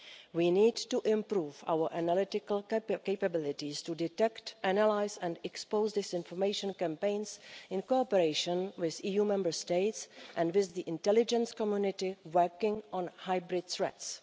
We need to improve our analytical capabilities to detect, analyse and expose disinformation campaigns in cooperation with EU Member States and with the intelligence community working on hybrid threats.